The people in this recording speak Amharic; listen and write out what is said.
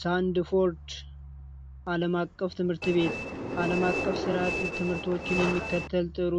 ሳንድ ፎርድ አለማቀፍ ትምህርት ቤት አለማቀፍ ስርዓት ትምህርቶችን የሚከተል ጥሩ